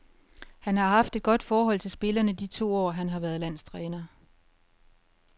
Han har haft et godt forhold til spillerne de to år, han har været landstræner.